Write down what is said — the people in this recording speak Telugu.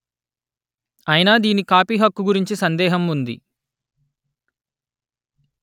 అయినా దీని కాపీ హక్కు గురించి సందేహం ఉంది